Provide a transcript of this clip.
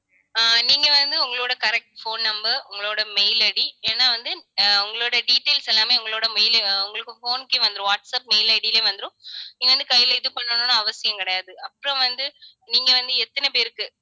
ஆஹ் நீங்க வந்து, உங்களோட correct phone number உங்களோட mail ID ஏன்னா வந்து ஆஹ் உங்களோட details எல்லாமே உங்களோட mail உ உங்களுக்கு phone க்கே வந்துரும். வாட்ஸ்ஆப் mail ID ல வந்துரும். நீங்க வந்து கையில இது பண்ணணும்னு அவசியம் கிடையாது அப்புறம் வந்து நீங்க வந்து எத்தனை பேருக்கு